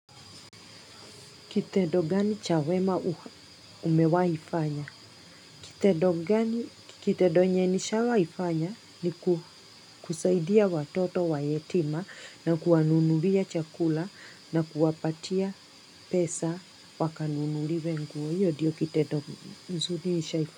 Kitendo gani chawema umewa ifanya? Kitedo gani kitedo nye nishawa ifanya ni kusaidia watoto wa yetima na kuwanunulia chakula na kuwapatia pesa wakanunuli wenguo. Iyo ndiyo kitedo nzuni nisha ifanya.